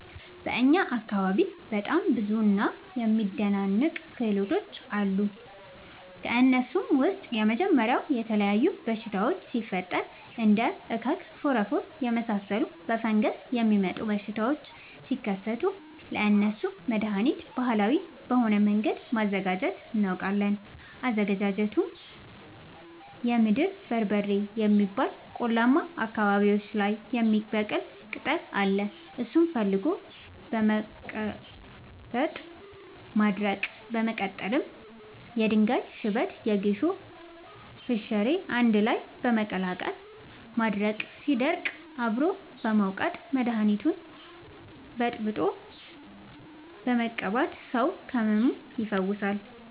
በእኛ አካባቢ በጣም ብዙ እና የሚደናንቅ ክህሎቶች አሉ። ከእነሱም ውስጥ የመጀመሪያው የተለያዩ በሽታወች ሲፈጠሪ እንደ እከክ ፎረፎር የመሳሰሉ በፈንገስ የሚመጡ በሽታዎች ሲከሰቱ ለእነሱ መደሀኒት ባህላዊ በሆነ መንገድ ማዘጋጀት እናውቃለን። አዘገጃጀቱመሸ የምድር በርበሬ የሚባል ቆላማ አካባቢዎች ላይ የሚበቅል ቅጠል አለ እሱን ፈልጎ በመቀለረጥ ማድረቅ በመቀጠልም የድንጋይ ሽበት የጌሾ ፈሸሬ አንድላይ በመቀላቀል ማድረቅ ሲደርቅ አብሮ በመውቀጥ መደኒቱን በጥብጦ በመቀባት ሰው ከህመሙ ይፈወሳል።